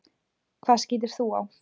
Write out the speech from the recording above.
Hvað skýtur þú á?